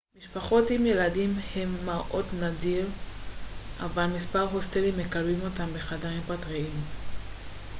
משפחות עם ילדים הם מראה נדיר אבל מספר הוסטלים מקבלים אותן בחדרים פרטיים